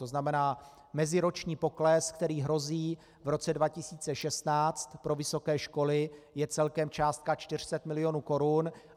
To znamená meziroční pokles, který hrozí v roce 2016 pro vysoké školy, je celkem částka 400 milionů korun.